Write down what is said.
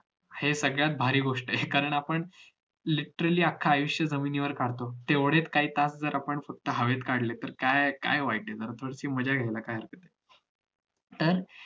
हे सगळ्यात भारी गोष्ट आहे हे कारण आपण literally अख्ख आयुष्य जमिनीवर काढतो तेवढेच काही तास आपण हवेत काढले तर काय काय वाईट आहे ना जरा थोडीशी मज्जा घेऊया तर